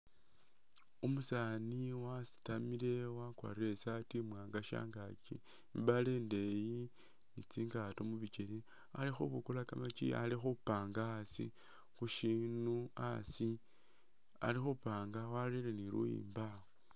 Umusaani wasitamile wakwarire i'saati iwaanga shangaaki, i'mbaale indeeyi ni tsingaato mu bikele. Ali khubukulaka kamaaki ali khupanga asi khu syinu asi ali khupanga warere ne luyimbo awo.